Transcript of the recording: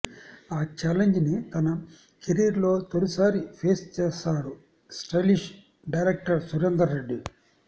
ఆ ఛాలెంజ్ ని తన కెరీర్ లో తొలి సారి ఫేస్ చేసారు స్టైలిష్ డైరక్టర్ సురేందర్ రెడ్డి